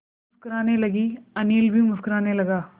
अम्मा मुस्कराने लगीं अनिल भी मुस्कराने लगा